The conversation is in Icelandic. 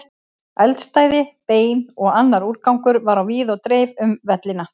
Eldstæði, bein og annar úrgangur var á víð og dreif um vellina.